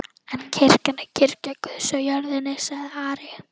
En kirkjan er kirkja Guðs á jörðinni, sagði Ari.